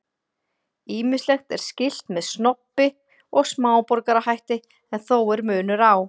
Ýmislegt er skylt með snobbi og smáborgarahætti en þó er munur á.